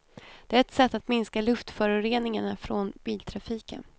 Det är ett sätt att minska luftföroreningarna från biltrafiken.